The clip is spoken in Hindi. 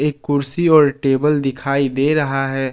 कुर्सी और टेबल दिखाई दे रहा है।